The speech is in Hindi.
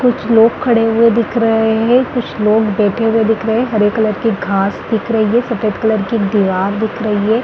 कुछ लोग खड़े हुए दिख रहे है कुछ लोग बैठे हुए दिख रहे है हरे कलर की घास दिख रही है सफ़ेद कलर की दिवार दिख है।